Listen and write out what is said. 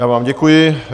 Já vám děkuji.